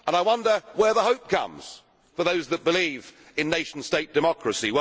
I wonder where the hope comes for those who believe in nation state democracy.